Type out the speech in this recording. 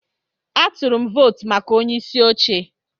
Atụrụ m votu maka onyeisi oche.